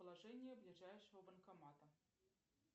положение ближайшего банкомата